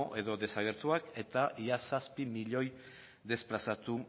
edo desagertuak eta ia zazpi milioi desplazatu